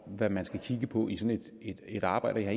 hvad man skal kigge på i sådan et et arbejde og jeg